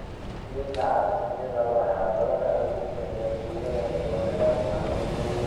Keega carsaanyada waxaa badanaa lagu bixiyaa suugo remoulade ah.